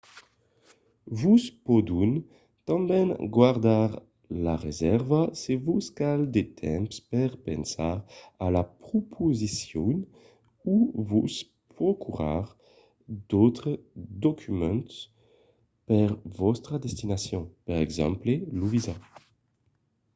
vos pòdon tanben gardar la resèrva se vos cal de temps per pensar a la proposicion o vos procurar d’autres documents per vòstra destination per exemple lo visat